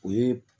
O ye